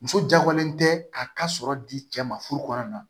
Muso jagolen tɛ k'a ka sɔrɔ di cɛ ma furu kɔnɔ